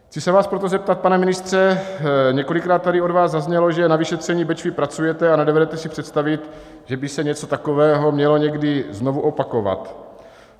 Chci se vás proto zeptat, pane ministře: Několikrát tady od vás zaznělo, že na vyšetření Bečvy pracujete a nedovedete si představit, že by se něco takového mělo někdy znovu opakovat.